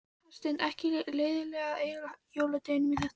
Hafsteinn: Ekkert leiðilegt að eyða jóladeginum í þetta?